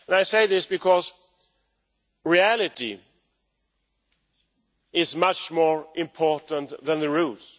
I say this because reality is much more important than the rules.